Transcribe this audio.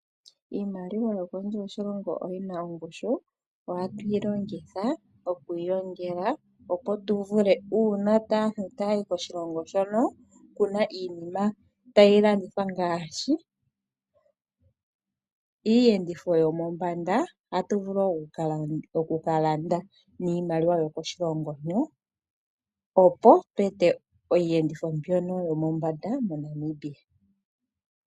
Iimaliwa yo kondje yoshilongo oyina ongushu ohatu yi longitha okuyi longela opo tuvule uuna aantu taayi koshilongo hono kuna iinima tayi landithwa ngaashi iiyenditho yomombanda ohatu vulu oku kalanda niimaliwa yokoshilongo hono opo pu etwe iiyenditho mbyono yo pombanda mo Namibia